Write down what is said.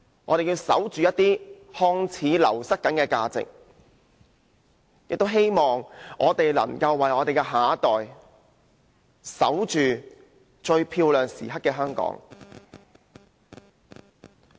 我們要守着一些看似正在流失的價值，亦希望為我們的下一代守着最漂亮時刻的香港。